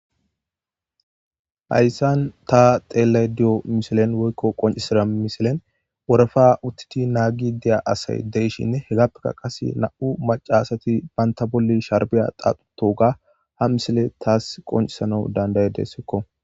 Hayssan ta xeellay diyo misilen woykko qoncisida misilen worefa uttiti naagi deya asay deishinne hegappeka qase na7u macasati baynta bolli sharbiya qaaxutoga ha misile taas qoncisana danday dessikko